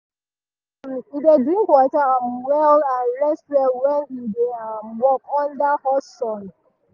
um e dey drink water um well and rest well when e dey um work under hot sun.